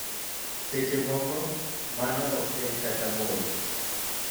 seche moko, mano ok en kata 'mole'.